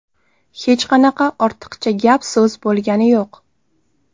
Hech qanaqa ortiqcha gap-so‘z bo‘lgani yo‘q.